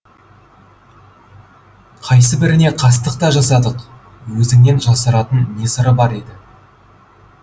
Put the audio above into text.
қайсыбіріне қастық та жасадық өзіңнен жасыратын не сыр бар еді